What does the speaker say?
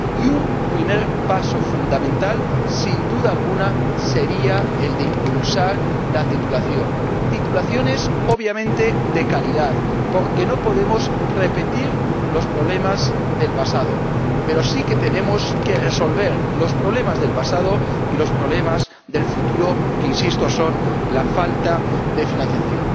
Y un primer paso fundamental, sin duda alguna, sería el de impulsar la titulización. Titulizaciones, obviamente, de calidad, porque no podemos repetir los problemas del pasado, pero sí que tenemos que resolver los problemas del pasado y los problemas del futuro, que —insisto— son la falta de financiación.